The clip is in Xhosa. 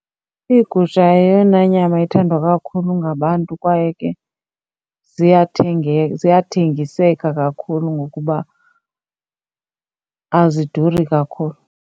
Iigusha eyona nyama ethandwa kakhulu ngabantu kwaye ke ziyathengiseka kakhulu ngokuba aziduri kakhulu.